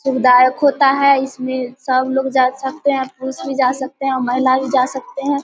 सुविधायक होता है इसमे सब लोग जा सकते हैं पुरूष भी जा सकते हैं महिला भी जा सकते हैं।